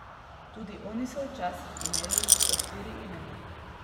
Tudi oni so včasih imeli po štiri imena.